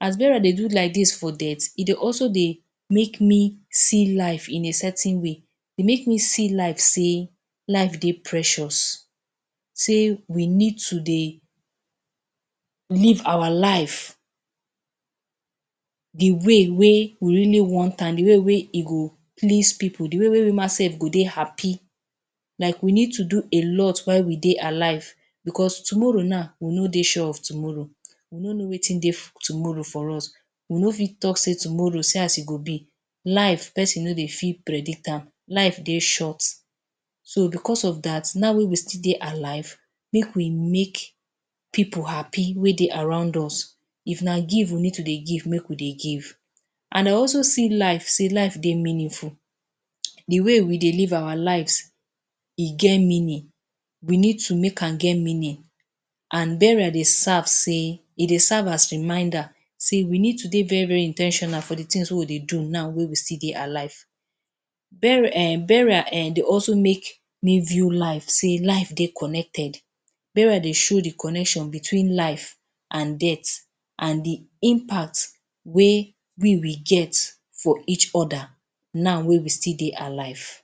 As burial dey do like dis for death, e dey also dey make me see life in a certain way, dey make me see life sey life dey precious sey we need to dey live our life the way wey we really want am, the way wey e go please pipu, the way wey we ma sef go dey happy. Like we need to do a lot while we dey alive becos tomorrow na, we no dey sure of tomorrow. We no know wetin dey tomorrow for us. We fit no talk sey tomorrow, see as e go be. Life, peson no dey fit predict am, life dey short. So, becos of dat, now wey we still dey alive, make we make pipu happy wey dey around us. If na give we need to dey give, make we dey give. An I also see life sey life dey meaningful. The way we dey live our lives, e get meaning. We need to make am get meaning. An burial dey serve sey e dey serve as reminder sey we need to dey very-very in ten tional for the tins wey we dey now wey we still dey alive. Burial um dey also make me view life sey life dey connected. Burial dey show the connection between life an death, an the impact wey we will get for each other now wey we still dey alive.